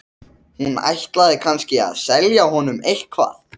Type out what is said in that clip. Hún ætlaði kannski að selja honum eitthvað.